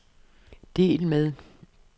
del med